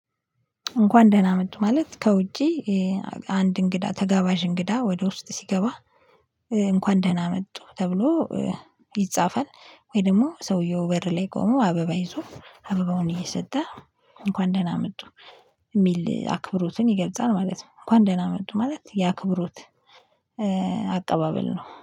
እንኳን ደህና መጡ ማለት ከውጪ። አንድ እንግዳ ተጋባዥ እንግዳ ወደ ውስጥ ሲገባ እንኳን ደህና መጡ ተብሎ። ይጻፋል ወይ ደግሞ ሰውየው በር ላይ ቆሞ አበባ ይዞ አበባውን እየሰጠ እንኳን ደህና መጡ የሚል አክብሮትን ይገልጻል ማለት ነው። እንኳን ደህና መጡ ማለት የአክብሮት አቀባበል ነው